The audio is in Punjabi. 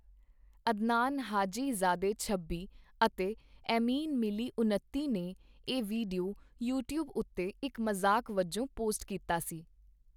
ਅਦਨਾਨ ਹਾਜੀ-ਜ਼ਾਦੇ ਛੱਬੀ ਅਤੇ ਏਮਿਨ ਮਿਲੀ ਉਨੱਤੀ ,ਨੇ ਇਹ ਵੀਡੀਓ ਯੂਟਿਊਬ ਉੱਤੇ ਇੱਕ ਮਜ਼ਾਕ ਵਜੋਂ ਪੋਸਟ ਕੀਤਾ ਸੀ।